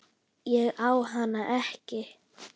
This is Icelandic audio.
Ég á hana ekki.